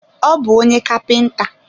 Ọ bu onye kapinta